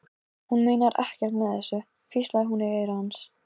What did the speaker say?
Trúirðu að þú getir öðlast aftur sjónina?